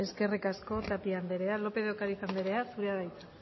eskerrik asko tapia andrea lópez de ocariz anderea zurea da hitza